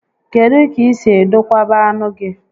Kedụ ka i si edokwaba anụ gị?